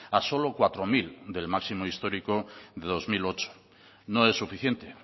a solo cuatro mil del máximo histórico de dos mil ocho no es suficiente